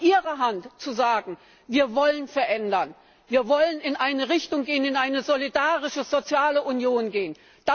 Es liegt in Ihrer Hand zu sagen, wir wollen verändern, wir wollen in eine Richtung gehen, in eine solidarische soziale Union gehen.